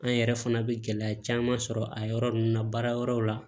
An yɛrɛ fana bɛ gɛlɛya caman sɔrɔ a yɔrɔ ninnu na baara yɔrɔw la